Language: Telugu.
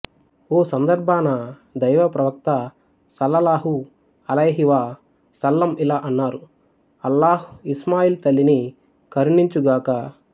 ఓ సందర్భాన దైవప్రవక్త సల్లల్లాహు అలైహివ సల్లం ఇలా అన్నారు అల్లాహ్ ఇస్మాయీల్ తల్లిని కరుణించుగాక